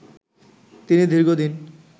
তিনি দীর্ঘদিন